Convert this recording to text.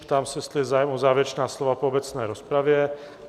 Ptám se, jestli je zájem o závěrečná slova po obecné rozpravě?